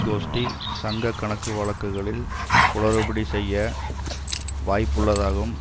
கோஷ்டி சங்க கணக்கு வழக்குகளில் குளறுபடி செய்ய வாய்ப்புள்ளதாகவும்